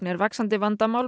er vaxandi vandamál